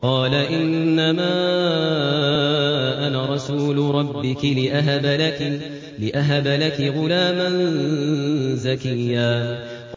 قَالَ إِنَّمَا أَنَا رَسُولُ رَبِّكِ لِأَهَبَ لَكِ غُلَامًا زَكِيًّا